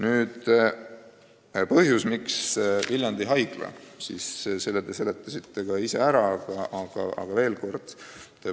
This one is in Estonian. Miks on jutt Viljandi Haiglast, selle te seletasite ka ise ära, aga kordan veel.